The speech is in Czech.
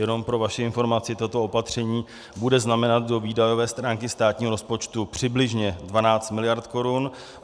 Jenom pro vaši informaci, toto opatření bude znamenat do výdajové stránky státního rozpočtu přibližně 12 mld. korun.